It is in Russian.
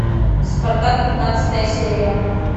спартак пятнадцатая серия